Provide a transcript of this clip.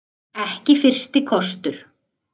Ekki fyrsti kostur